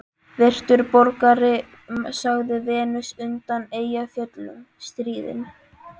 Virtur borgari, sagði Venus undan Eyjafjöllum stríðin.